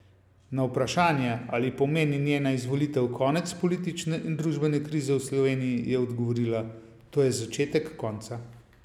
Na vprašanje, ali pomeni njena izvolitev konec politične in družbene krize v Sloveniji, je odgovorila: "To je začetek konca.